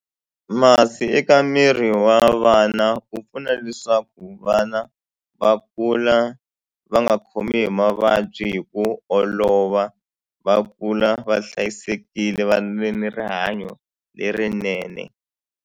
Masi eka miri wa vana wu pfuna leswaku vana va kula va nga khomi hi mavabyi hi ku olova va kula va hlayisekile va ve ni rihanyo lerinene.